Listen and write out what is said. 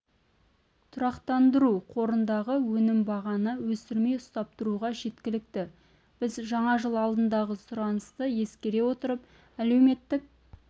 тұрақтандыру қорындағы өнім бағаны өсірмей ұстап тұруға жеткілікті біз жаңа жыл алдындағы сұранысты ескере отырып әлеуметтік